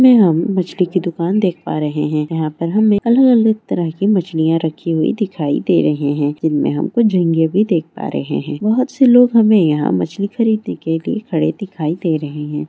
अभी हम मछली की दुकान देख पा रहे है। यहाँ पर अलग-अलग तरह की मछलियाँ रखी हुई दिखाई दे रही है। जिनमे हम झींगे भी देख पा रहे है। बहुत सारे लोग हमें यहाँ मछलिया खरीदने के लिए खड़े दिखाई दे रहे है।